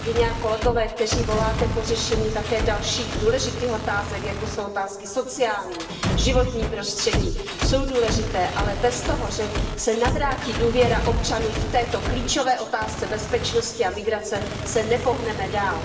Kolegové a kolegyně, kteří voláte po řešení také dalších důležitých otázek, jako jsou otázky sociální, životní prostředí, tyto otázky jsou důležité, ale bez toho, že se navrátí důvěra občanům v této klíčové otázce bezpečnosti a migrace se nepohneme dál.